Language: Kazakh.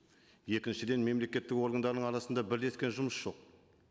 екіншіден мемлекеттік органдарының арасында бірлескен жұмыс жоқ